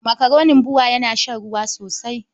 Makaronin BUA ya shan ruwa sosai.